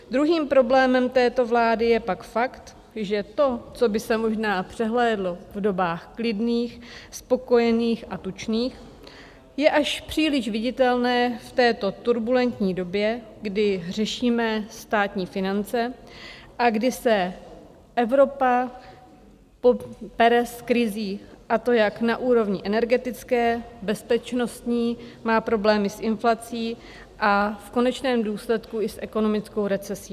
Druhým problémem této vlády je pak fakt, že to, co by se možná přehlédlo v dobách klidných, spokojených a tučných, je až příliš viditelné v této turbulentní době, kdy řešíme státní finance a kdy se Evropa pere s krizí, a to jak na úrovni energetické, bezpečnostní, má problémy s inflací a v konečném důsledku i s ekonomickou recesí.